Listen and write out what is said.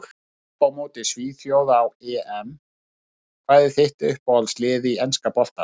Að tapa á móti svíþjóð á EM Hvað er þitt uppáhaldslið í enska boltanum?